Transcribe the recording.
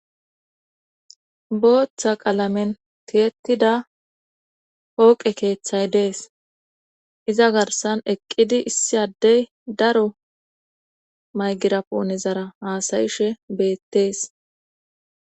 booththa qalamen tiyettida hooqe keeththay dees iza garsan eqqidi issi addey daro maygiraponezara haasayishe beettees